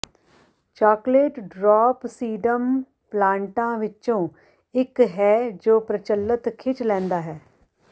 chocolate drop sedum ਪਲਾਂਟਾਂ ਵਿੱਚੋਂ ਇੱਕ ਹੈ ਜੋ ਪ੍ਰਚੱਲਤ ਖਿੱਚ ਲੈਂਦਾ ਹੈ